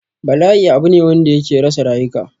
Bala'i abu ne wanda yake rasa rayuka